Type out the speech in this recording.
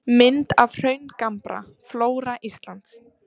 Mynd af hraungambra: Flóra Íslands.